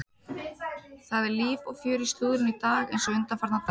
Það er líf og fjör í slúðrinu í dag eins og undanfarna daga.